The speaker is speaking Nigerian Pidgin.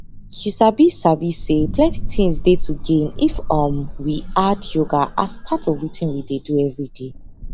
you sabi sabi say plenty things dey to gain if um we add yoga as part of wetin we dey do everyday